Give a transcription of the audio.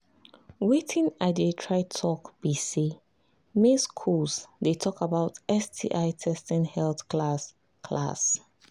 watin i they try talk be say make school they talk about sti testing health class class